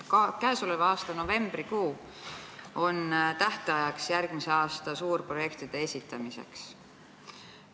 Käesoleva aasta novembrikuu on tähtajaks järgmise aasta suurprojektide esitamisel.